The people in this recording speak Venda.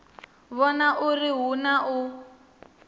vhona uri hu na u